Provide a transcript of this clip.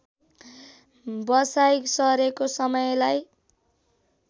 बसाइँ सरेको समयलाई